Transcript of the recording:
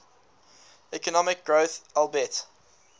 economic growth albeit